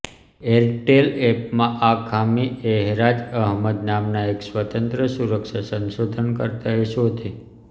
Airtel એપમાં આ ખામી એહરાજ અહમદ નામના એક સ્વતંત્ર સુરક્ષા સંશોધનકર્તાએ શોધી